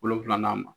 Wolonfila ma